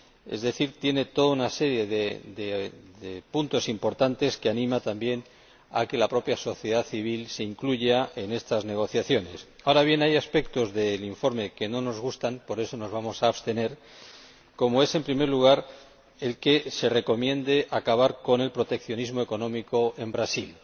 Es decir, tiene toda una serie de puntos importantes que animan también a que la propia sociedad civil se incluya en estas negociaciones. Ahora bien, hay aspectos del informe que no nos gustan —por eso nos vamos a abstener—, como es, en primer lugar, el que se recomiende acabar con el proteccionismo económico en Brasil.